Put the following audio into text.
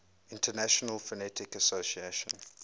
international phonetic association